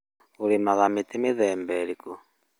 ũrĩmaga mĩtĩ mĩthemba ĩrĩkũ?